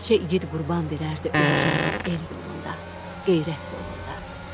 Neçə iqid qurban verərdi öz canını el yolunda, qeyrət yolunda.